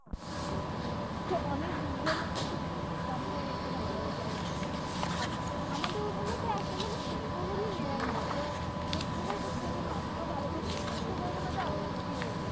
তো অনেক reason আছে যে কেন এখানে ভালো? বা এই আপ আমাদের ঐখানে তো একদম মানে খোজ-খবরই নেইনা যে খোজ-খবর সেই জন্য আপনাকে তো ভালো করে জিজ্ঞেস ও করবে না। যে আপনার কি হয়েছে?